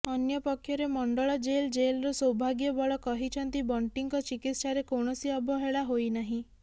ଅନ୍ୟପକ୍ଷରେ ମଣ୍ଡଳ jail jailer Saubhagya Bal କହିଛନ୍ତି ବଣ୍ଟିଙ୍କ ଚିକିତ୍ସାରେ କୌଣସି ଅବହେଳା ହୋଇ ନାହିଁ